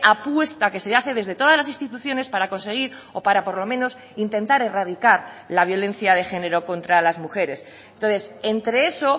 apuesta que se hace desde todas las instituciones para conseguir o para por lo menos intentar erradicar la violencia de género contra las mujeres entonces entre eso